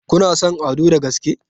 Kuna son Ado da gaske?